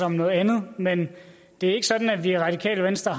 om noget andet men det er ikke sådan at vi i radikale venstre